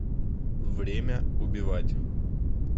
время убивать